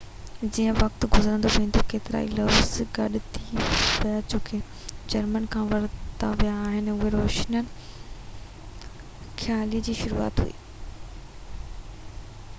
جيئن وقت گذرندو ويو ڪيترائي لفظ گڏ ٿي ويا جيڪي جرمن کان ورتا ويا هئا اهو روشن خيالي جي شروعات هئي